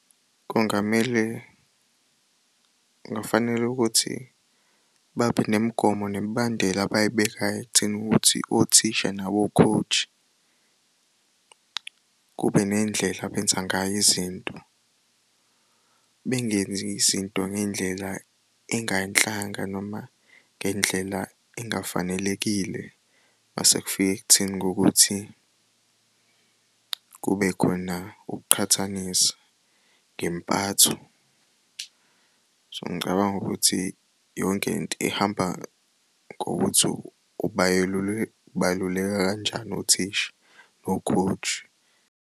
Kungamele, kufanele ukuthi babe nemigomo nemibandela abayibekayo ekutheni ukuthi othisha nabo-coach kube neyindlela abenzangayo izinto. Bengenz'izinto ngendlela engayinhlanga noma ngendlela engafanelekile masekufika ekutheni kokuthi kubekhona ukuqhathanisa ngempatho. So ngicabanga ukuthi yonke into ihamba ngokuthi ubaluleka kanjani othisha no-coach.